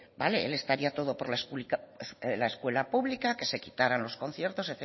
vale él estaría todo por la escuela pública que se quitará los conciertos